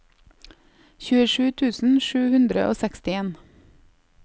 tjuesju tusen sju hundre og sekstien